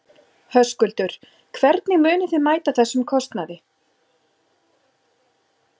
Höskuldur: Hvernig munið þið mæta þessum kostnaði?